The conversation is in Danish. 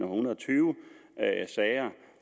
hundrede og tyve sager